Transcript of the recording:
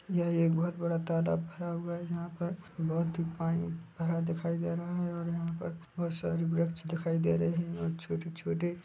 यह एक बहुत बड़ा तालाब भरा हुआ है यहां पर बहुत ही पानी भरा दिखाई दे रहा है और यहाँ पर बहुत सारी वृक्ष दिखाई दे रही है और छोटे छोटे--